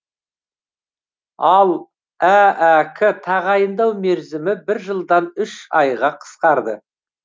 ал аәк тағайындау мерзімі бір жылдан үш айға қысқарды